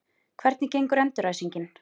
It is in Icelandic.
Hvernig gekk endurræsingin?